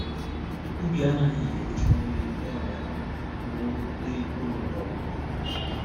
Obi anaghị erucha onye ọrịa ala ma o rute n’ụlọ ọgwụ.